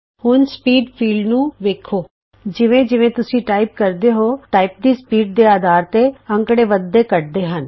ਹੁਣ ਸਪੀਡ ਖੇਤਰ ਤੇ ਵੇਖੋ ਜਿਵੇਂ ਜਿਵੇਂ ਤੁਸੀਂ ਟਾਈਪ ਕਰਦੇ ਹੋ ਤੁਹਾਡੀ ਟਾਈਪ ਦੀ ਸਪੀਡ ਦੇ ਅਧਾਰ ਤੇ ਅੰਕੜੇ ਵੱਧਦੇ ਘੱਟਦੇ ਹਨ